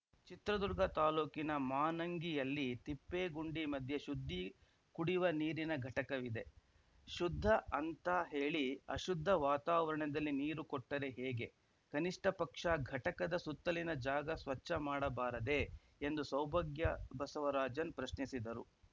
ಚಿತ್ರದುರ್ಗ ತಾಲೂಕಿನ ಮಾನಂಗಿಯಲ್ಲಿ ತಿಪ್ಪೇಗುಂಡಿ ಮಧ್ಯೆ ಶುದ್ದಿ ಕುಡಿವ ನೀರಿನ ಘಟಕವಿದೆ ಶುದ್ದ ಅಂತ ಹೇಳಿ ಅಶುದ್ದ ವಾತಾವರಣದಲ್ಲಿ ನೀರು ಕೊಟ್ಟರೆ ಹೇಗೆ ಕನಿಷ್ಠ ಪಕ್ಷ ಘಟಕದ ಸುತ್ತಲಿನ ಜಾಗ ಸ್ವಚ್ಛ ಮಾಡಬಾರದೆ ಎಂದು ಸೌಭಾಗ್ಯ ಬಸವರಾಜನ್‌ ಪ್ರಶ್ನಿಸಿದರು